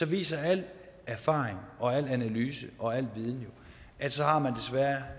viser al erfaring og al analyse og al viden at så har